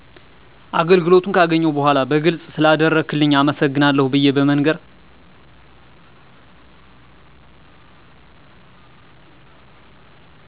አገልግሎቱን ገካገኘሁ በዃላ በግልጽ ስለአደረክልኝ አመሰግናለሁ ብየ በመንገር